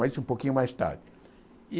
Mas um pouquinho mais tarde e.